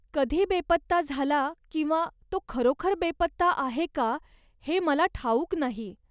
कधी बेपत्ता झाला किंवा तो खरोखर बेपत्ता आहे का हे मला ठाऊक नाही.